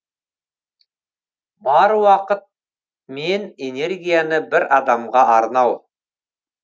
бар уақыт мен энергияны бір адамға арнау